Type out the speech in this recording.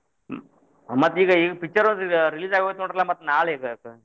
ಮತ್ತ್ ಈಗ ಇದ್ picture ಒಂದ್ ಇದ್ release ಅಗೋಯ್ತ್ರಿ ನೋಡ್ರಲಾ ಮತ್ತ್ ನಾಳಿಗ.